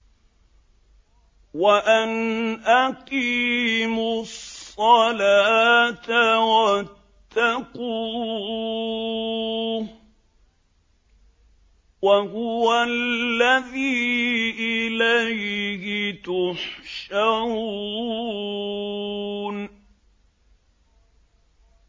وَأَنْ أَقِيمُوا الصَّلَاةَ وَاتَّقُوهُ ۚ وَهُوَ الَّذِي إِلَيْهِ تُحْشَرُونَ